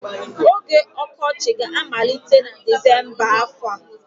Oge ọkọchị ga-amalite na Disemba afọ a.